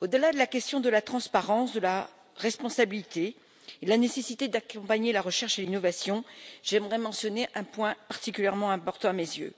Au delà de la question de la transparence, de la responsabilité et de la nécessité d'accompagner la recherche et l'innovation, j'aimerais mentionner un point particulièrement important à mes yeux